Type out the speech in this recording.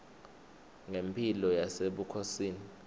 ngemphilo yasebukhosini